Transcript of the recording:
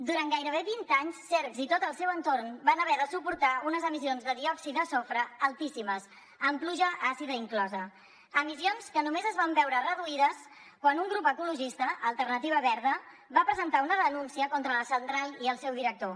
durant gairebé vint anys cercs i tot el seu entorn van haver de suportar unes emissions de diòxid de sofre altíssimes amb pluja àcida inclosa emissions que només es van veure reduïdes quan un grup ecologista alternativa verda va presentar una denúncia contra la central i el seu director